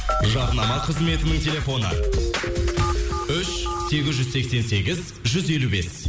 жарнама қызметінің телефоны үш сегіз жүз сексен сегіз жүз елу бес